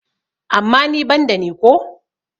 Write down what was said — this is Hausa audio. amma ni ban da ni ko?